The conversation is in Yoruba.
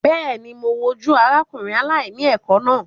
Bẹ́ẹ̀ ni, mo wojú arákùnrin aláìní ẹ̀kọ́ náà.